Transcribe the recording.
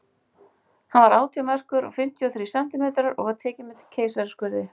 Hann var átján merkur og fimmtíu og þrír sentímetrar, og var tekinn með keisaraskurði.